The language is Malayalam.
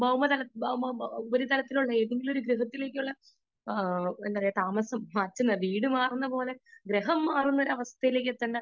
സ്പീക്കർ 2 ഭൗമ ഉപരിതലത്തിൽ ഏതെങ്കിലും ഒരു ഗ്രഹത്തിലേക്കുള്ള എന്താ പറയാ താമസം വീട് മാറുന്നപോലെ ഗ്രഹാം മാറുന്ന അവസ്ഥയിലേക്ക്